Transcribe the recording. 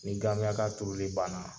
Ni gamiyaka tuuruli banna.